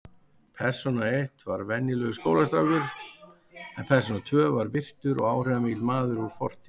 Persóna eitt var venjulegur skólastrákur en persóna tvö var virtur og áhrifamikill maður úr fortíð.